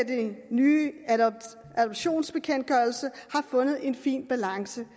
den nye adoptionsbekendtgørelse har fundet en fin balance